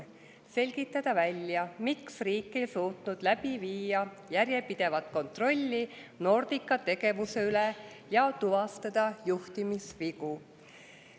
Selgitada välja, miks riik ei suutnud läbi viia järjepidevat kontrolli Nordica tegevuse üle ja tuvastada juhtimisvigu.